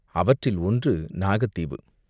அவற்றில் ஒன்று நாகத் தீவு.